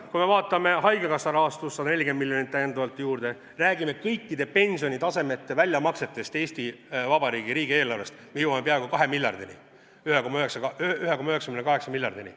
Kui me vaatame haigekassa rahastust – 140 miljonit täiendavalt juurde –, räägime kõikide pensionitasemete väljamaksetest Eesti Vabariigi riigieelarvest, jõuame peaaegu kahe miljardini – 1,98 miljardini.